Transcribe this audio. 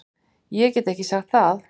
Ég get ekki sagt það